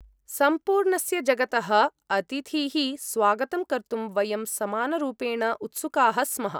सम्पूर्णस्य जगतः अतिथीः स्वागतं कर्तुं वयं समानरूपेण उत्सुकाः स्मः।